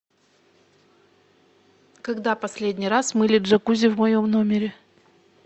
когда последний раз мыли джакузи в моем номере